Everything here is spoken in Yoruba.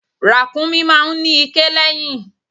Ràkúnmí máa ń ní iké lẹ́yìn.